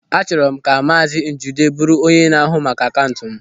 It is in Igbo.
Achọrọ m ka maazị Chude bụrụ onye na-ahụ maka akaụntụ m.